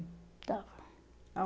Estava.